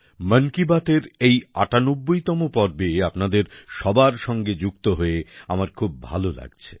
মন কি বাতের এই ৯৮তম পর্বে আপনাদের সবার সঙ্গে যুক্ত হয়ে আমার খুব ভালো লাগছে